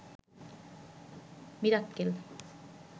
Mirakkel